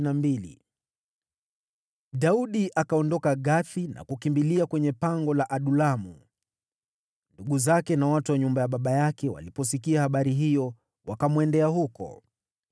Daudi akaondoka Gathi na kukimbilia kwenye pango la Adulamu. Ndugu zake na watu wa nyumba ya baba yake waliposikia habari hiyo, wakamwendea huko.